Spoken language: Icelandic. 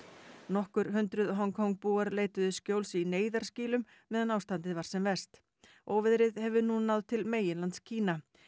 nokkur hundruð Hong Kong búar leituðu skjóls í neyðarskýlum meðan ástandið var sem verst óveðrið hefur nú náð til meginlands Kína